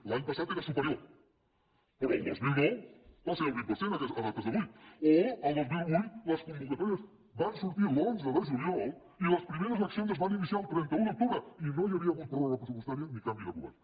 l’any passat era superior però el dos mil nou va ser el vint per cent a data d’avui o el dos mil vuit les convocatòries van sortir l’onze de juliol i les primeres accions es van iniciar el trenta un d’octubre i no hi havia hagut pròrroga pressupostària ni canvi de govern